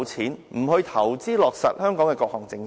他不去投資落實香港的各項政策。